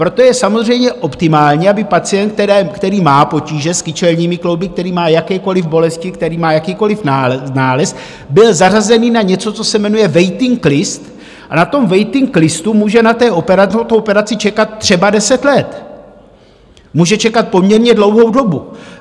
Proto je samozřejmě optimální, aby pacient, který má potíže s kyčelními klouby, který má jakékoliv bolesti, který má jakýkoliv nález, byl zařazený na něco, co se jmenuje waiting list, a na tom waiting listu může na tu operaci čekat třeba deset let, může čekat poměrně dlouhou dobu.